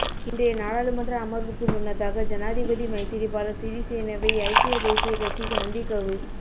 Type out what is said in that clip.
இன்றைய நாடாளுமன்ற அமர்வுக்கு முன்னதாக ஜனாதிபதி மைத்திரிபால சிறிசேனவை ஐக்கிய தேசியக் கட்சி சந்திக்கவு